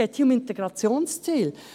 Es geht hier um Integrationsziele.